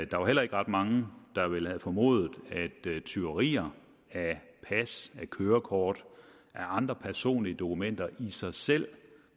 der var heller ikke ret mange der ville have formodet at tyverier af pas af kørekort og af andre personlige dokumenter i sig selv